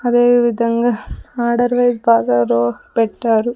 అదే విధంగా order wise బాగా రో పెట్టారు.